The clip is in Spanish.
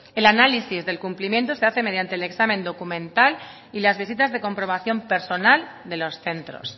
el análisis del cumplimiento se hace mediante el examen documental y las visitas de comprobación personal de los centros